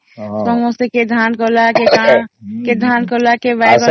ସମସ୍ତେ କେଏ ଧାନ କଲା କେରେ କଣ କଲା ଧାନ କଲା କେ ବାଇଗଣ କଲା